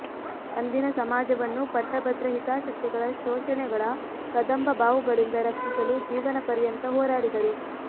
ಅಂದಿನ ಸಮಾಜವನ್ನು ಪಟ್ಟಭದ್ರ ಹಿತಾಸಕ್ತಿಗಳ ಶೋಷಣೆಗಳ ಕದಂಬಬಾಹುಗಳಿಂದ ರಕ್ಷಿಸಲು ಜೀವನ ಪರ್ಯಂತ ಹೋರಾಡಿದರು